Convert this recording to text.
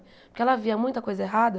Porque ela via muita coisa errada.